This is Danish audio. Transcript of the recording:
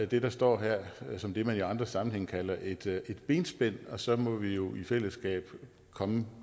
det der står her som det man i andre sammenhænge kalder et benspænd og så må vi jo i fællesskab komme